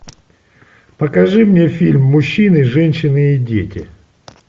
покажи мне фильм мужчины женщины и дети